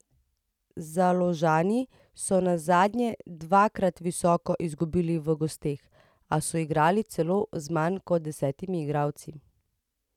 Založani so nazadnje dvakrat visoko izgubili v gosteh, a so igrali celo z manj kot desetimi igralci.